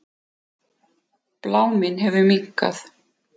Bláminn hefur minnkað.